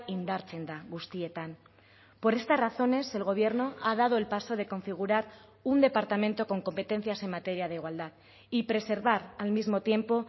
indartzen da guztietan por estas razones el gobierno ha dado el paso de configurar un departamento con competencias en materia de igualdad y preservar al mismo tiempo